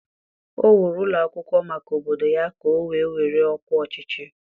o wuru ụlọ akwụkwọ maka obodo ya ka o wee were ọkwa ọchịchị.